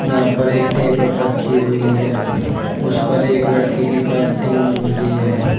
यहां पर एक टेबल रखी हुई है उस पर एक लड़की की पेंटिंग बन रही है।